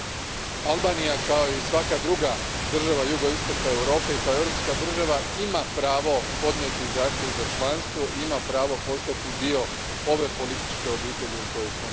Albanija, kao i svaka druga država jugoistoka Europe i kao europska država, ima pravo podnijeti zahtjev za članstvo i ima pravo postati dio ove političke obitelji u kojoj smo mi.